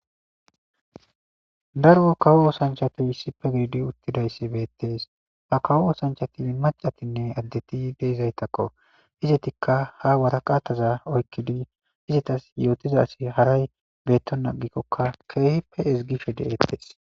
daro kawo osanchatu issife gididi uttidayssi beettees ha kawo osanchati macatinne addeti deizaytakko izetikka ha waraqataza oykkidi hizetas yootiza asi haray beetton agikkokka keehippe ezgishe de'eettees